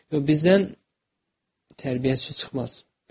Yox, bizdən tərbiyəçi çıxmaz.